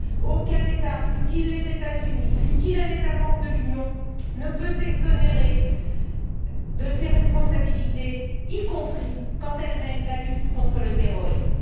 Aucun État, fut il les États Unis, fut il un État membre de l'Union, ne peut s'exonérer de ses responsabilités, y compris quand il mène la lutte contre le terrorisme.